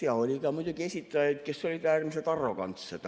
Ja oli ka muidugi esitajaid, kes olid äärmiselt arrogantsed.